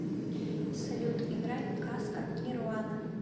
салют играй казка нирвана